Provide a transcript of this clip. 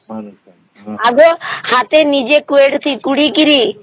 ଆଗରୁ ନିଜେ ହାତେ ଖୁଡ଼ିକିରି